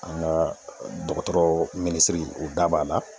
An ga dɔgɔtɔrɔ minisiri o da b'a la